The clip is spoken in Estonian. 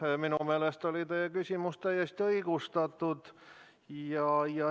Jah, minu meelest oli teie küsimus täiesti õigustatud.